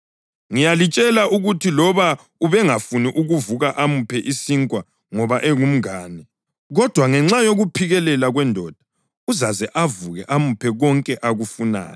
Ngiyalitshela ukuthi loba ubengafuni ukuvuka amuphe isinkwa ngoba engumngane, kodwa ngenxa yokuphikelela kwendoda uzaze avuke amuphe konke akufunayo.